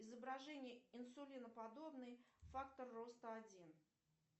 изображение инсулиноподобный фактор роста один